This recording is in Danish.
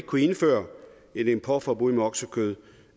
kunne indføre et importforbud mod oksekød